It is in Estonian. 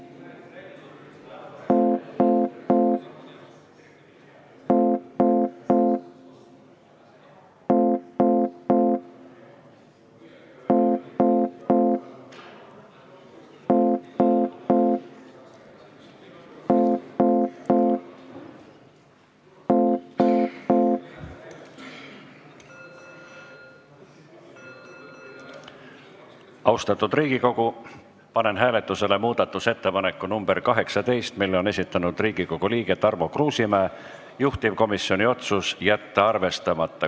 Austatud Riigikogu, panen hääletusele muudatusettepaneku nr 18, mille on esitanud Riigikogu liige Tarmo Kruusimäe, juhtivkomisjoni otsus: jätta arvestamata.